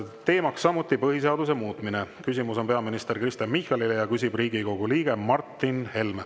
Teema on samuti põhiseaduse muutmine, küsimus on peaminister Kristen Michalile ja küsib Riigikogu liige Martin Helme.